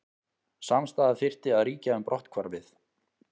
Samstaða þyrfti að ríkja um brotthvarfið